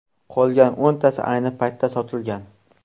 Qolgan o‘ntasi ayni paytda sotilgan.